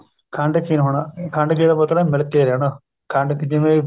ਖੰਡਖੀਰ ਹੋਣਾ ਖੰਡਖੀਰ ਦਾ ਮਤਲਬ ਮਿਲ ਕੇ ਰਹਿਣਾ ਖੰਡ ਜਿਵੇਂ